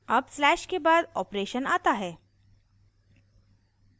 अब slash के बाद operation आता है